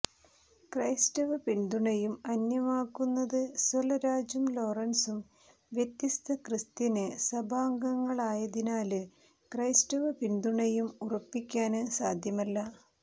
ക്രൈസ്തവ പിന്തുണയും അന്യമാകുന്നത് സെല്വരാജും ലോറന്സും വ്യത്യസ്ത ക്രിസ്ത്യന് സഭാംഗങ്ങളായതിനാല് ക്രൈസ്തവ പിന്തുണയും ഉറപ്പിക്കാന് സാധ്യമല്ല